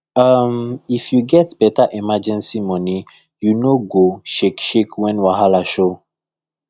um if you get better emergency money you no go shake shake when wahala show